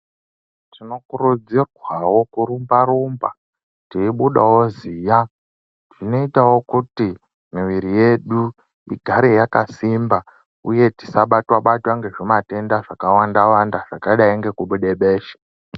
Tinokurudzirwawo kurumba teibuda ziya zvinoitawo kuti mwiri yedu igare yakasimba uye tisabatwa batwa ngezvitenda zvakawanda wanda zvakadai ngekubuda besha.